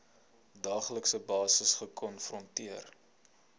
daaglikse basis gekonfronteer